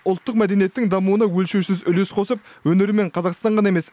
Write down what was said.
ұлттық мәдениеттің дамуына өлшеусіз үлес қосып өнерімен қазақстан ғана емес